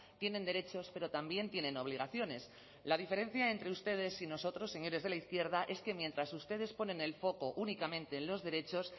tienen derechos pero también tienen obligaciones la diferencia entre ustedes y nosotros señores de la izquierda es que mientras ustedes ponen el foco únicamente en los derechos